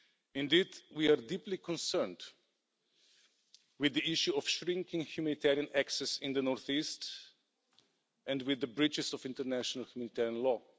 Indeed, we are deeply concerned with the issue of shrinking humanitarian access in the northeast and with the breaches of international humanitarian law.